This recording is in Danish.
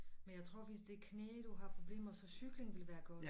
Men jeg tror hvis det knæ du har problemer så cyklen ville være godt